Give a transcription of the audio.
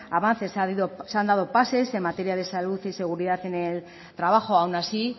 avances se han dado pases en materia de salud y seguridad en el trabajo aún así